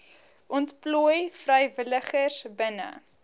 ontplooi vrywilligers binne